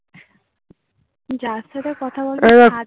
যার সাথে কথা বলবার